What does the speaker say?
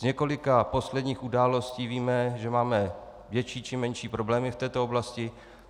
Z několika posledních událostí víme, že máme větší či menší problémy v této oblasti.